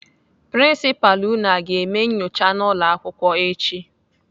Prinsipalụ unu aga eme nnyocha n'ụlọakwụkwọ echi?